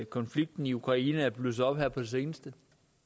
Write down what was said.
konflikten i ukraine er blusset op her på det seneste